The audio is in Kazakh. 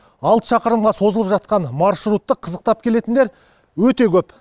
алты шақырымға созылып жатқан маршрутты қызықтап келетіндер өте көп